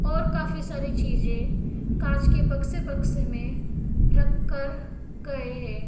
और काफी सारी चीजें कांच के बक्से बक्से में रख कर गए हैं।